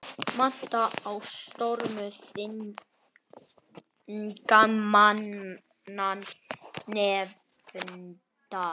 Vantraust á störf þingmannanefndar